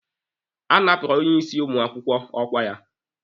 A napụrụ onye isi ụmụ akwụkwọ ọkwa ya.